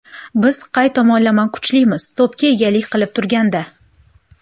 Biz qay tomonlama kuchlimiz to‘pga egalik qilib turganda.